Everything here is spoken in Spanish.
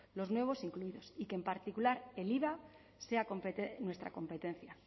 los nuevos incluidos y que en particular el iva sea nuestra competencia